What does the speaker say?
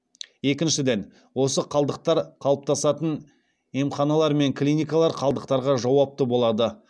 екіншіден осы қалдықтар қалыптасатын емханалар мен клиникалар қалдықтарға жауапты болады